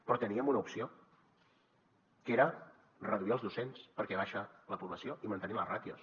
però teníem una opció que era reduir els docents perquè baixa la població i mantenir les ràtios